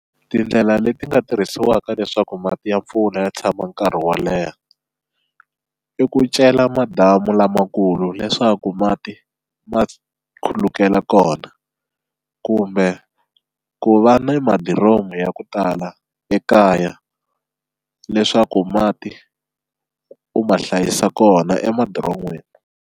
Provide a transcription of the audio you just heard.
Tindlela leti nga tirhisiwaka leswaku mati ya mpfula ya tshama nkarhi wo leha i ku cela madamu lamakulu leswaku mati ma khulukela kona kumbe ku va ni madiromu ya ku tala ekaya leswaku mati u ma hlayisa kona emadiron'wini.